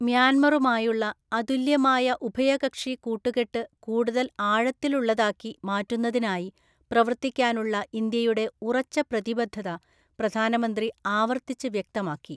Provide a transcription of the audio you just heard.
മ്യാന്മാറുമായുള്ള അതുല്യമായ ഉഭയകക്ഷി കൂട്ടുകെട്ട്കൂടുതല്‍ ആഴത്തിലുള്ളതാക്കി മാറ്റുന്നതിനായി പ്രവർത്തിക്കാനുള്ള ഇന്ത്യയുടെ ഉറച്ച പ്രതിബദ്ധത പ്രധാനമന്ത്രി ആവര്‍ത്തിച്ച് വ്യക്തമാക്കി..